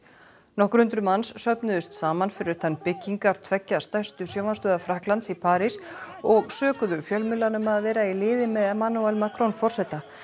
nokkur hundruð manns söfnuðust saman fyrir utan byggingar tveggja stærstu sjónvarpsstöðva Frakklands í París og sökuðu fjölmiðla um að vera í liði með Emmanuel Macron forseta